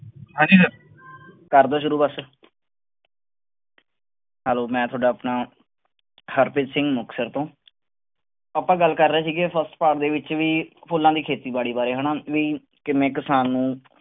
ਕਰਦਾਂ ਸ਼ੁਰੂ ਬਸ hello ਮੈਂ ਤੁਹਾਡਾ ਆਪਣਾ ਹਰਪ੍ਰੀਤ ਸਿੰਘ ਮੁਕਤਸਰ ਤੋਂ ਆਪਾਂ ਗੱਲ ਕਰ ਰਹੇ ਸੀਗੇ first part ਦੇ ਵਿੱਚ ਵੀ ਫੁੱਲਾਂ ਦੀ ਖੇਤੀਬਾੜੀ ਬਾਰੇ ਹਨਾ ਵੀ ਕਿਵੇਂ ਕਿਸਾਨ ਨੂੰ